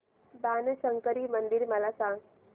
बाणशंकरी मंदिर मला सांग